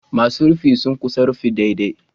Masu rufin sun ƙusa rufin daidai